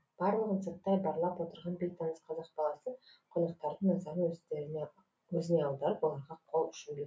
барлығын сырттай барлап отырған бейтаныс қазақ баласы қонақтардың назарын өзіне аударып оларға қол ұшын берд